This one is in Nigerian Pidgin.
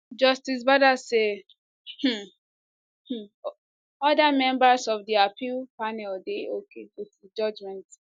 justice bada say um um oda members of di appeal panel dey okay wit di judgement